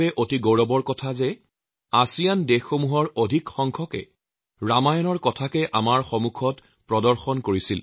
অতি গৌৰৱৰ বিষয় এই যে তেওঁলোকৰ অধিকাংশ দেশেই আমাৰ সন্মুখত ৰামায়ণকে উপস্থাপন কৰিছিল